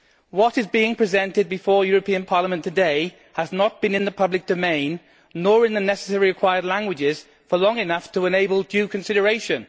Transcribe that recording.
What is being presented before Parliament today has not been in the public domain, nor in the necessary required languages, for long enough to enable due consideration.